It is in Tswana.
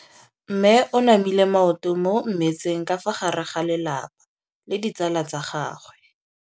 Mme o namile maoto mo mmetseng ka fa gare ga lelapa le ditsala tsa gagwe.